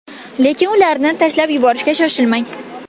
Lekin ularni tashlab yuborishga shoshilmang.